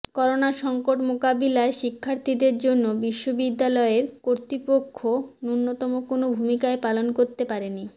corona সংকট মোকাবিলায় শিক্ষার্থীদের জন্য বিশ্ববিদ্যালয় কর্তৃপক্ষ ন্যুনতম কোনো ভূমিকাই পালন করতে পারেনি